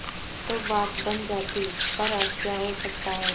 तो बात बन जाती पर अब क्या हो सकता है